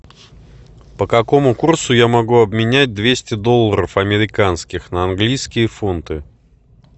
по какому курсу я могу обменять двести долларов американских на английские фунты